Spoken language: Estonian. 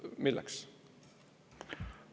Milleks?